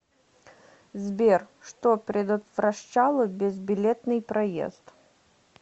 сбер что предотвращало безбилетный проезд